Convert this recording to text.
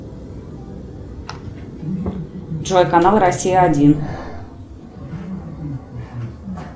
джой канал россия один